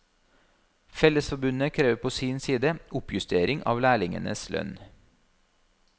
Fellesforbundet krever på sin side oppjustering av lærlingenes lønn.